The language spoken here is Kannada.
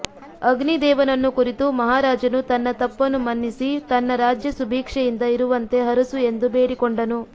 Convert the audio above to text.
ಅಗ್ನಿ ದೇವನನ್ನು ಕುರಿತು ಮಹಾರಾಜನು ತನ್ನ ತಪ್ಪನು ಮನ್ನಿಸಿ ತನ್ನ ರಾಜ್ಯ ಸುಭೀಕ್ಷೆಯಿಂದ ಇರುವಂತೆ ಹರಸು ಎಂದು ಭೇಡಿ ಕೊಂಡನು